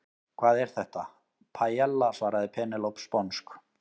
Hvað er þetta? Paiella, svaraði Penélope sponsk.